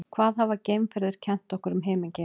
hvað hafa geimferðir kennt okkur um himingeiminn